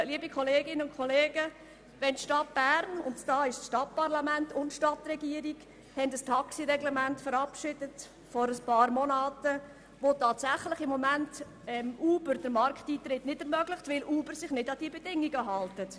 Liebe Kolleginnen und Kollegen, das soll in der Stadt Bern geschehen, wo Stadtregierung und Stadtparlament vor einigen Monaten ein Taxireglement verabschiedet haben und wo im Moment Uber tatsächlich der Markteintritt nicht möglich ist, weil sich Uber nicht an die Bedingungen hält.